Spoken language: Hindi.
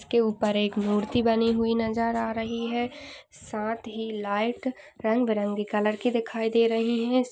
उसके ऊपर एक मूर्ति बनी हुई नज़र आ रही है साथ ही लाइट रंग बेरंगी कलर की दिखाई दे रही है।